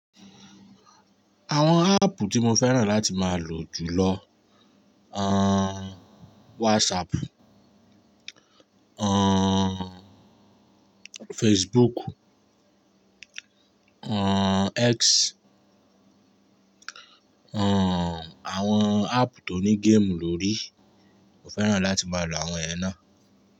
Àwọn áàpù tí mo fẹ́ràn láti máa lò jùlọ, aaan WhatsApp, aaan Facebook, aaan X, aaan àwọn áàpù tó ní game lórí, mo fẹ́ràn láti máa lò àwọn yẹna.